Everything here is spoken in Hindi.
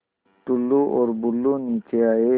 टुल्लु और बुल्लु नीचे आए